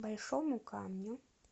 большому камню